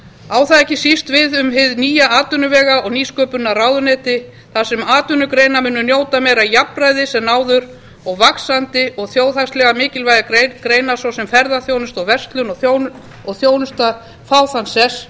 á það ekki síst við um hið nýja atvinnuvega og nýsköpunarráðuneyti þar sem atvinnugreinar munu njóta meira jafnræðis en áður og vaxandi og þjóðhagslega mikilvægar greinar svo sem ferðaþjónusta verslun og þjónusta fá þann sess